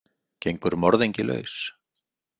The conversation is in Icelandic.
Gengur morðingi laus?